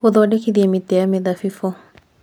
Gũthondekithia Mĩtĩ ya Mĩthabibũ